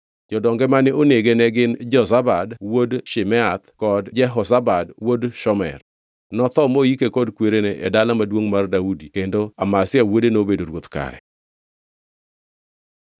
Jodonge mane onege ne gin Jozabad wuod Shimeath kod Jehozabad wuod Shomer. Notho moike kod kwerene e Dala Maduongʼ mar Daudi kendo Amazia wuode nobedo ruoth kare.